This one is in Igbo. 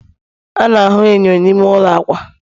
a na-ahụ enyo n'ime ụlọ akwa